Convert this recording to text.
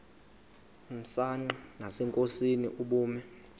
msanqa nasenkosini ubume